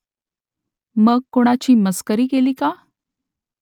मग कोणाची मस्करी केली का ?